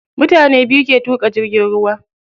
Mutane biyu ke tuƙa jirgin ruwa.